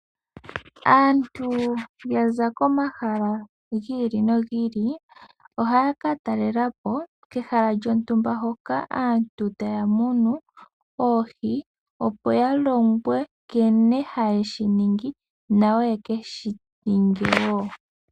Aantu ya za komahala giili no giili ohaya ka talelapo kehala lyontumba hoka aantu taya munu oohi opo ya longwe nkene haye shiningi nayo yeke shininge wo.